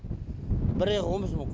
бір айға он бес мың